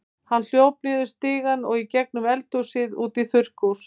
Hann hljóp niður stigann og í gegnum eldhúsið út í þurrkhús.